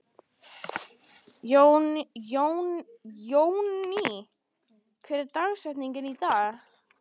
Jónný, hver er dagsetningin í dag?